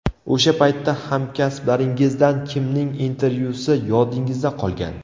O‘sha paytda hamkasblaringizdan kimning intervyusi yodingizda qolgan?